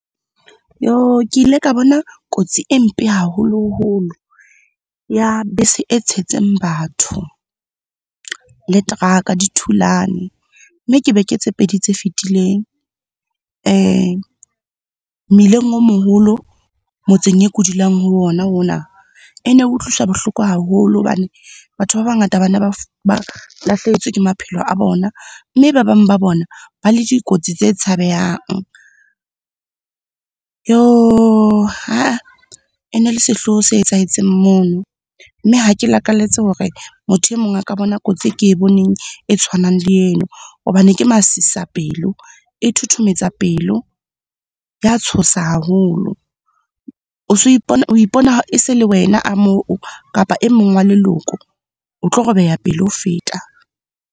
Ke ile ka bona kotsi e mpe haholoholo. Ya bese e tshetseng batho, le teraka di thulane. Mme ke beke tse pedi tse fetileng mmileng o moholo motseng e ke dulang ho ona, ona. E ne utlwisa bohloko haholo hobane batho ba bangata bane ba lahlehetswe ke maphelo a bona, mme ba bang ba bona ba le dikotsi tse tshabehang. E ne le sehloho se etsahetseng mono, mme ha ke lakalletse hore motho e mong a ka bona kotsi e ke e boneng, e tshwanang le yeno hobane ke masisapelo eo, e thothometsa pelo, ya tshosa haholo. O so ipona, o ipona e se le wena a moo kapa e mong wa leloko, o tlo robeha pelo ho feta.